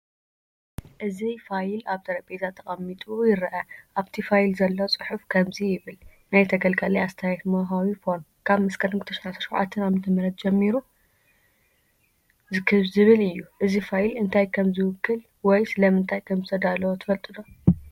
እዚ ፋይል ኣብ ጠረጴዛ ተቀሚጡ ይርአ። ኣብቲ ፋይል ዘሎ ጽሑፍ ከምዚ ይብል፤ “ናይ ተገልጋሊ ኣስተያየት መውሃቢ ፎርም" ካብ መስከረም 2017 ዓ.ም ጀሚሩ ዝብል እዩ። እዚ ፋይል እንታይ ከም ዝውክል ወይ ስለምንታይ ከም ዝተዳለዎ ትፈልጡ ዶ?